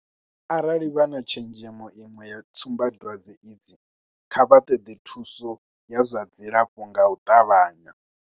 Arali vha tshenzhemo iṅwe ya tsumbadwadze idzi, kha vha ṱoḓe thuso ya zwa dzilafho nga u ṱavhanya.